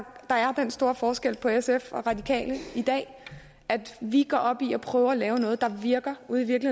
der er den store forskel på sf og radikale i dag at vi går op i at prøve at lave noget der virker ude